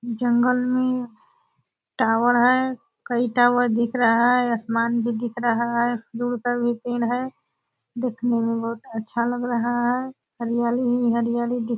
जंगल मे टावर है कई टावर दिख रहा है आसमान भी दिख रहा है देखने मे बहुत अच्छा लग रहा है हरियाली ही हरियाली दि --